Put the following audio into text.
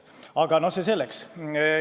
Aga see selleks.